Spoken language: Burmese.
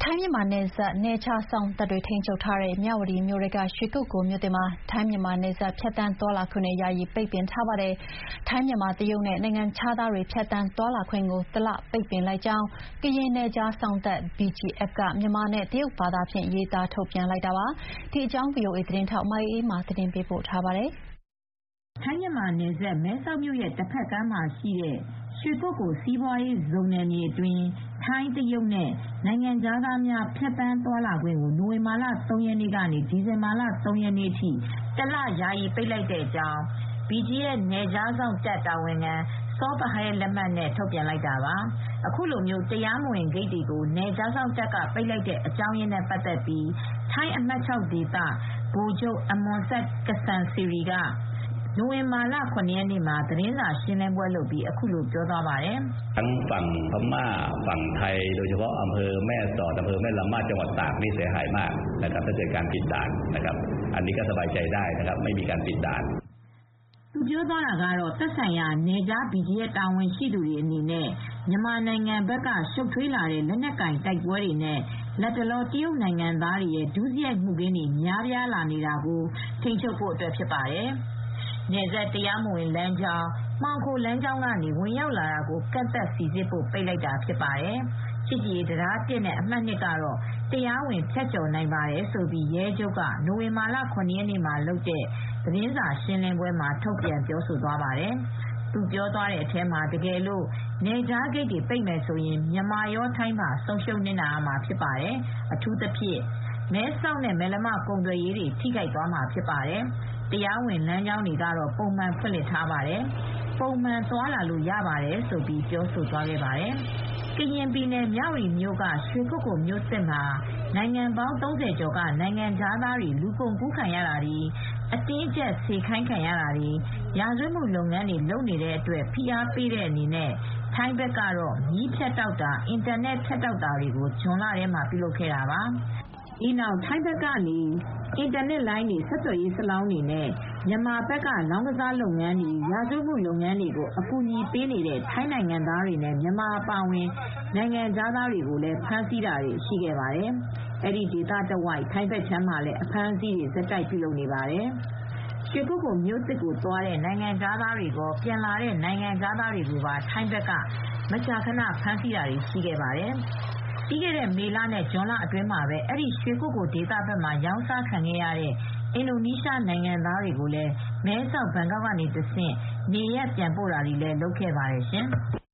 ိုင်း-မြန်မာနယ်စပ်မြဝတီမြို့က နယ်ခြားစောင့်တွေ ထိန်းချုပ်ထားတဲ့ ရွှေကုက္ကိုမြို့သစ်မှာ ထိုင်း-မြန်မာနယ်စပ်ဖြတ်သန်းသွားလာခွင့်ကိုတားမြစ်ကြောင်း ခေါင်းစဉ်နဲ့ ထိုင်း၊ မြန်မာ၊ တရုတ်နဲ့ နိုင်ငံခြားသားများသွားလာခွင့်ကို တလယာယီပိတ်လိုက်ကြောင်း မြန်မာနဲ့တရုတ် နှစ်ဘာသာနဲ့ရေးသားပြီး ကရင်နယ်ခြားစောင့်တပ် BGF က ပိတ်လိုက်ပါတယ်။ ဒီအကြောင်းကို ဗွီအိုအေသတင်းထောက် မအေးအေးမာကသတင်းပေးပို့ထားပါတယ်။ ထိုင်း-မြန်မာနယ်စပ် မဲဆောက်မြို့တဘက်ကမ်းမှာရှိတဲ့ ရွှေကုက္ကိုလ် စီးပွားရေးဇုံနယ်မြေအတွင်း ထိုင်း၊ တရုတ်နဲ့ နိုင်ငံခြားသားများ ဖြတ်သန်းသွားလာခွင့်ကို နိုဝင်ဘာ ၃ ရက်နေ့ကနေ ဒီဇင်ဘာသုံးရက်နေ့အထိ တလ ယာယီပိတ်လိုက်တဲ့အကြောင်း BGF နယ်ခြားစောင့်တပ်တာဝန်ခံ Saw Pha Hal လက်မှတ်နဲ့ ထုတ်ပြန်လိုက်တာပါ။ အခု တရားမဝင်ဂိတ်တွေကို နယ်ခြားစောင့်တပ်ကပိတ်လိုက်တဲ့အကြောင်းရင်းနဲ့ပတ်သက်ပြီး ထိုင်းအမှတ် ၆ ဒေသ ဗိုလ်ချုပ် Pol. Maj. Gen. Amornsak Kasemksiri၊ (Deputy Commander of Region 6 ) အမွန်ဆပ်-က စန်စီရီက နိုဝင်ဘာလ ၇ ရက်နေ့မှာ သတင်းစာရှင်းလင်းပွဲမှာ အခုလိုပြောသွားပါတယ်။ သူ ပြောသွားတာကတော့ - “သက်ဆိုင်ရာ နယ်ခြား BGF တာဝန်ရှိသူတွေအနေနဲ့ မြန်မာနိုင်ငံဘက်က ရှုပ်ထွေးလာတဲ့ လက်နက်ကိုင် တိုက်ပွဲတွေနဲ့ လတ်တလော တရုတ်နိုင်ငံသားတွေရဲ့ ဒုစရိုက်မှုခင်းတွေ များပြားလာနေတာကို ထိန်းချုပ်ဖို့အတွက် နယ်စပ် တရားမဝင်လမ်းကြောင်း မှောင်ခိုလမ်းကြောင်းကနေ ဝင်ရောက်လာတာတွေကို ကန့်သတ်စိစစ်ဖို့ ပိတ်တာဖြစ်ပါတယ် ချစ်ကြည်ရေးတံတားအမှတ် ၁ နဲ့အမှတ် ၂ ကနေတော့ တရားဝင်ဖြတ်ကျော်နိုင်ပါတယ်။” လို့ ရဲချုပ်က နိုဝင်ဘာလ ၇ ရက်နေ့မှာလုပ်တဲ့သတင်းစာရှင်းလင်းပွဲမှာ ထုတ်ပြန်ပြောဆိုသွားပါတယ်။ သူပြောသွားတဲ့အထဲမှာ “တကယ်လို့ နယ်ခြားဂိတ်ပိတ်မယ်ဆိုရင် မြန်မာရော ထိုင်းပါ ဆုံးရှုံးနစ်နာရမှာဖြစ်ပါတယ်။ အထူးသဖြင့် မဲဆောက်နဲ့ မယ်လမ ကုန်သွယ်ရေးထိခိုက်သွားမှာဖြစ်ပါတယ်။ တရားဝင်လမ်းကြောင်းတွေက ပုံမှန်ဖွင့်လှစ်ထားပါတယ်။ ပုံမှန်သွားလာလို့ရပါတယ်- လို့ ပြောသွားပါတယ်။ ကရင်ပြည်နယ် မြ၀တီမြို့က ရွှေကုက္ကိုမြို့သစ်မှာ နိုင်ငံပေါင်း ၃၀ ကျော်က နိုင်ငံခြားသားတွေ လူကုန်ကူးခံရတာတွေ၊ အတင်းအကြပ်စေခိုင်းခံနေရတာတွေ၊ ရာဇဝတ်မှုလုပ်ငန်းတွေလုပ်နေတဲ့အတွက် ဖိအားပေးတဲ့အနေနဲ့ ထိုင်းဘက်ကတော့ မီးဖြတ်တောက်တာ၊ အင်တာနက်ဖြတ်တောက်တာတွေကို ဇွန်လထဲမှာ ပြုလုပ်လာခဲ့တာပါ။ ဒီနောက် ထိုင်းဘက်ကနေ အင်တာနက်လိုင်းတွေ၊ ဆက်သွယ်ရေးဆလောင်းတွေနဲ့ မြန်မာဘက်ကလောင်းကစားလုပ်ငန်း၊ ရာဇဝတ်မှုလုပ်ငန်းတွေကို အကူညီပေးနေတဲ့ထိုင်းနိုင်ငံသားနဲ့မြန်မာအပါအဝင်နိုင်ငံခြားသားတွေကိုလည်း ဖမ်းဆီးတာတွေရှိခဲ့ပါတယ်။ အဲဒီ ဒေသနဲ့အနီးတဝိုက် ထိုင်းဘက်ခြမ်းမှာလည်း အဖမ်းအဆီးတွေ ဆက်တိုက်ပြုလုပ်နေပါတယ်။ ရွှေကုက္ကိုမြို့သစ်ကိုသွားတဲ့နိုင်ငံခြားသားတွေကော၊ ပြန်လာတဲ့ နိုင်ငံခြားသားတွေကိုပါ ထိုင်းဘက်ကမကြာခဏ ဖမ်းဆီးတာတွေရှိခဲ့ပါတယ်။ ပြီးခဲ့တဲ့ မေလနဲ့ ဇွန်လအတွင်းမှာပဲ အဲဒီ ရွှေကုက္ကိုဒေသဘက်မှာ ရောင်းစားခံရတဲ့ အင်ဒိုနီးရှားနိုင်ငံသားတွေကိုလည်း မဲဆောက် ဘန်ကောက်ကနေတဆင့် နေရပ်ပြန်ပို့တာတွေလည်း လုပ်ခဲ့ပါတယ်ရှင်။